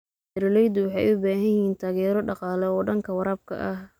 Beeraleydu waxay u baahan yihiin taageero dhaqaale oo dhanka waraabka ah.